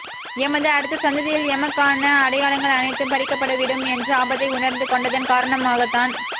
எமது அடுத்த சந்ததியில் எமக் கான அடையாளங்கள் அனைத் தும் பறிக்கப்பட்டுவிடும் என்ற ஆபத்தை உணர்ந்து கொண்டதன் காரண மாகத்தான்